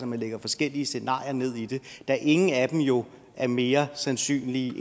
man lægger forskellige scenarier ned i det da ingen af dem jo er mere sandsynlige